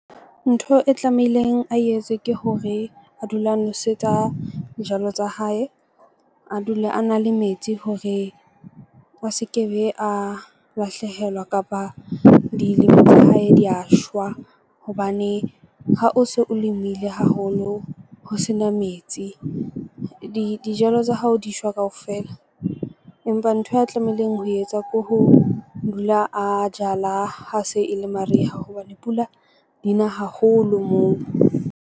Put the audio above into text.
Ntho e tlamehileng a etse ke hore a dule a nwesetsa dijalo tsa hae, a dule a na le metsi hore a se ke be a lahlehelwa kapa dilemo tsa hae di ya shwa hobane ha o se o lemile haholo, ho sena metsi dijalo tsa hao, di shwa kaofela. Empa nthwe ya tlamehileng ho etsa ko ho dula a jala ha se e le mariha hobane pula dina haholo moo.